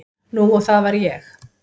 Nú og það var ég.